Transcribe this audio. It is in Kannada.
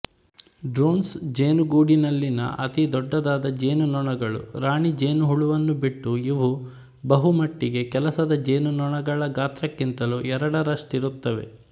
ಡ್ರೋನ್ಸ್ ಜೇನುಗೂಡಿನಲ್ಲಿನ ಅತೀ ದೊಡ್ಡದಾದ ಜೇನುನೊಣಗಳು ರಾಣಿ ಜೇನುಹುಳುವನ್ನು ಬಿಟ್ಟು ಇವು ಬಹು ಮಟ್ಟಿಗೆ ಕೆಲಸದ ಜೇನುನೊಣಗಳ ಗಾತ್ರಕ್ಕಿಂತಲೂ ಎರಡರಷ್ಟಿರುತ್ತವೆ